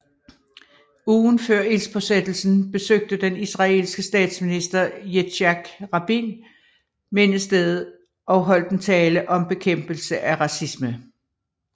Ugen før ildspåsættelsen besøgte den israelske statsminister Yitzhak Rabin mindestedet og holdt en tale om bekæmpelse af racisme